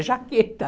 É jaqueta.